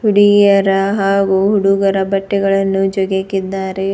ಹುಡುಗಿಯರ ಹಾಗು ಹುಡುಗರ ಬಟ್ಟೆಗಳನ್ನು ಜೋಗಿಹಾಕಿದ್ದಾರೆ.